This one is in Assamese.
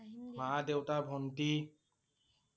মা, দেউতা, ভন্টি